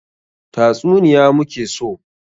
Tatsuniya mu ke so!